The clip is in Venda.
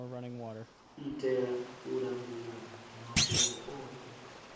itela u langula mafhungo othe